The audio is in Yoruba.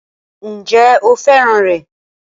Ǹjẹ́ o fẹ́ràn rẹ̀?